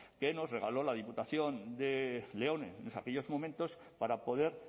que nos regaló la diputación de león en aquellos momentos para poder